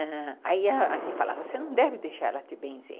Aí ele falava, você não deve deixar ela te benzer.